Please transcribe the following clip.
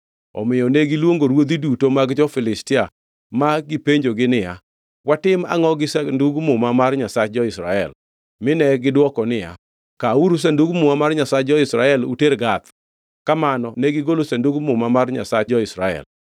Omiyo negiluongo ruodhi duto mag jo-Filistia ma gipenjogi niya, “Watim angʼo gi Sandug Muma mar Nyasach jo-Israel?” Mine gidwoko niya, “Kawuru Sandug Muma mar Nyasach jo-Israel uter Gath.” Kamano negigolo Sandug Muma mar Nyasach jo-Israel.